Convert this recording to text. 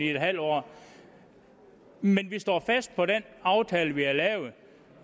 en halv år men vi står fast på den aftale vi har